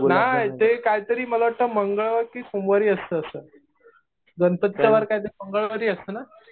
नाही ते काहीतरी मला वाटतं मंगळवारी कि सोमवारी असतं असं. गणपतीचा वार कधी मंगळवारी असतं ना.